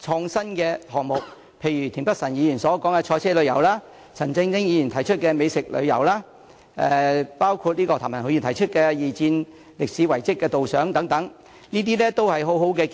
創新的項目，例如田北辰議員所說的賽車旅遊、陳振英議員提出的美食旅遊、譚文豪議員提及的二戰歷史遺蹟導賞等，這些都是很好的建議。